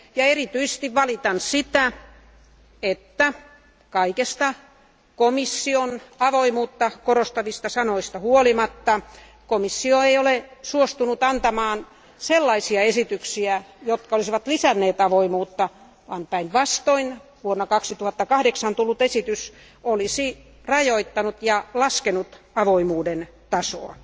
Erityisesti valitan sitä, että kaikesta komission avoimuutta korostavista sanoista huolimatta komissio ei ole suostunut antamaan sellaisia esityksiä, jotka olisivat lisänneet avoimuutta, vaan päinvastoin vuonna 2008 tullut esitys olisi rajoittanut ja laskenut avoimuuden tasoa.